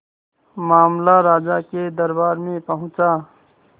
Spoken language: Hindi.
मामला राजा के दरबार में पहुंचा